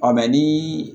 mɛ ni